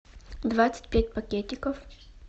двадцать пять пакетиков